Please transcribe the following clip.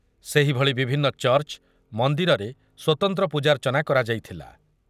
ସେହିଭଳି ବିଭିନ୍ନ ଚର୍ଚ୍ଚ, ମନ୍ଦିରରେ ସ୍ୱତନ୍ତ୍ର ପୂଜାର୍ଚ୍ଚନା କରାଯାଇଥିଲା ।